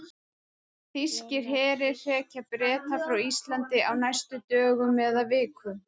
Þýskir herir hrekja Breta frá Íslandi á næstu dögum eða vikum.